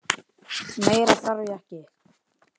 Meira þarf ég ekki.